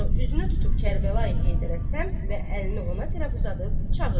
Sonra üzünü tutub Kərbəlayı Heydərə səmt və əlini ona tərəf uzadıb çağırdı.